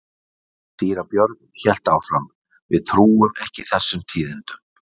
Síra Björn hélt áfram:-Við trúum ekki þessum tíðindum.